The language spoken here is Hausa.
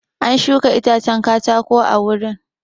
An shuka itacen katako a wurin.